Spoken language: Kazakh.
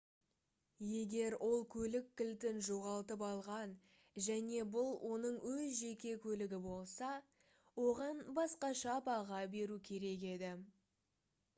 егер ол көлік кілтін жоғалтып алған және бұл оның өз жеке көлігі болса оған басқаша баға беру керек еді